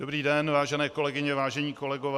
Dobrý den, vážené kolegyně, vážení kolegové.